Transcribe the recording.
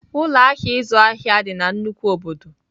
Ụlọ ahịa ịzụ ahịa dị na nnukwu obodo.